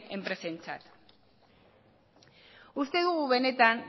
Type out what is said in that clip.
enpresentzat uste dugu benetan